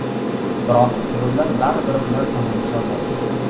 Biroq yo‘llar baribir ular tomon chorlaydi.